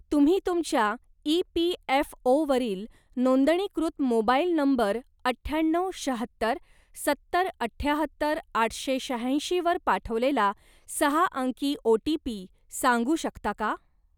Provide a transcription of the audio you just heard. तुम्ही तुमच्या ई.पी.एफ.ओ.वरील नोंदणीकृत मोबाईल नंबर अठ्याण्णव शाहत्तर सत्तर अठ्याहत्तर आठशे शहाऐंशी वर पाठवलेला सहा अंकी ओ.टी.पी. सांगू शकता का?